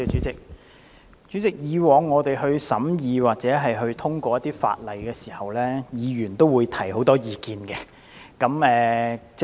主席，以往審議一些法案時，議員均會提出很多意見。